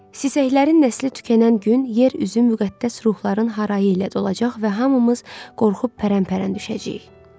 Sisəklərin nəsli tükənən gün yer üzü müqəddəs ruhların harayı ilə dolacaq və hamımız qorxub pərən-pərən düşəcəyik.